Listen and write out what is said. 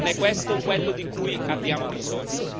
Non è questo quello di cui abbiamo bisogno!